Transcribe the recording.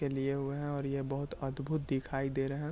ये लिए हुए है और ये बहुत अद्भुत दिखाई दे रहे है।